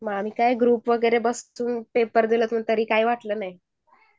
group मधून paper दिल तरी काय वाटलं नाही